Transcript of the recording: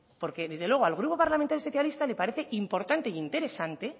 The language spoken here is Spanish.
porque desde luego al grupo parlamentario socialista le parece importante e interesante